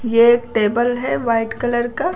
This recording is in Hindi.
ये एक टेबल है वाइट कलर का।